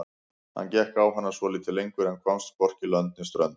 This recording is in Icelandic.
Hann gekk á hana svolítið lengur en komst hvorki lönd né strönd.